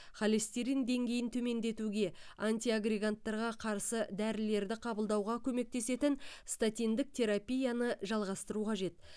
холестерин деңгейін төмендетуге антиагреганттарға қарсы дәрілерді қабылдауға көмектесетін статиндік терапияны жалғастыру қажет